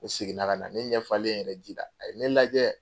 Ne segin na ka na ne ɲɛ falen yɛrɛ ji la a ye ne lajɛ.